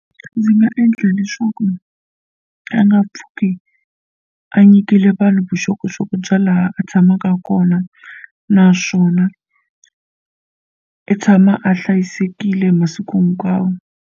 Ndzi nga endla leswaku a nga pfuki a nyikile vanhu vuxokoxoko bya laha a tshamaka kona naswona i tshama a hlayisekile hi masiku hinkwawo.